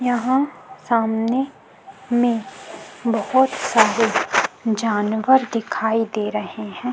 यहाँ सामने में बहोत सारे जानवर दिखाई दे रहे है।